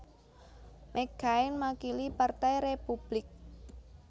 McCain makili Partai Republik